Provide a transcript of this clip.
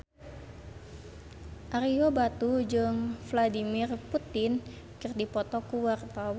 Ario Batu jeung Vladimir Putin keur dipoto ku wartawan